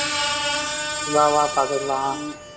வா வா பாத்துக்கலாம்